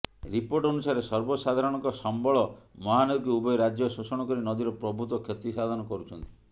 report ଅନୁସାରେ ସର୍ବସାଧାରଣଙ୍କ ସମ୍ବଳ ମହାନଦୀକୁ ଉଭୟ ରାଜ୍ୟ ଶୋଷଣ କରି ନଦୀର ପ୍ରଭୂତ କ୍ଷତି ସାଧନ କରୁଛନ୍ତି